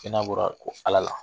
Kɛnɛya bɔra Ala la